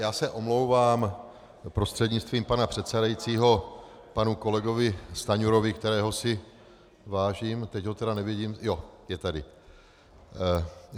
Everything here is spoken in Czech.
Já se omlouvám prostřednictvím pana předsedajícího panu kolegovi Stanjurovi, kterého si vážím - teď ho tedy nevidím, jo, je tady.